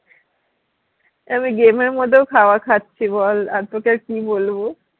আমি game এর মধ্যেও খাবার খাচ্ছি বল আর তোকে কি বলবো